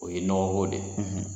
O ye nɔgɔ ko de ye.